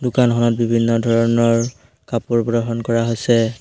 দোকানখনত বিভিন্ন ধৰণৰ কাপোৰ গ্ৰহণ কৰা আছে।